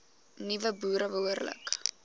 nuwe boere behoorlik